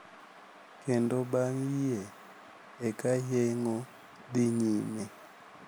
Kendo bang` yie eka yeng`o dhi nyime.